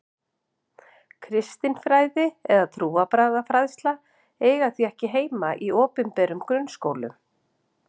Kristin fræði eða trúarbragðafræðsla eigi því ekki heima í opinberum grunnskólum.